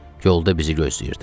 Yolda bizi gözləyirdi.